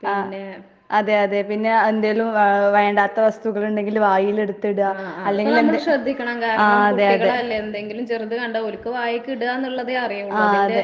ആഹ് അതെ അതെ. പിന്നെ എന്തേലും വാ വേണ്ടാത്ത വസ്തുക്കളുണ്ടെങ്കില് വായിലെടുത്തിട്ക. അല്ലെങ്കി ആഹ് അതെ അതെ. ആഹ് അതെ.